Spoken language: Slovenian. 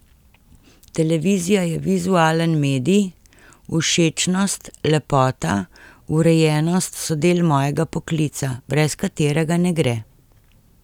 Televizija je vizualen medij, všečnost, lepota, urejenost so del mojega poklica, brez katerega ne gre.